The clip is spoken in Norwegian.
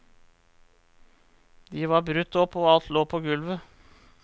De var brutt opp og alt lå på gulvet.